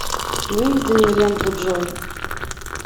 выведи мне ленту джой